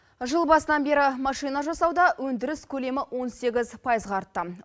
жыл басынан бері машина жасауда өндіріс көлемі он сегіз пайызға артты